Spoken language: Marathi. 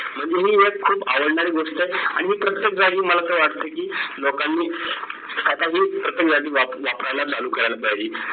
म्हणजे ही एक खूप आवडणारी गोष्ट आहे. आणि ही प्रत्येक जागी मला तर वाटतंय की लोकांनी आता ही प्रत्येक जागी व वापरायला चालू करायला पाहिजे.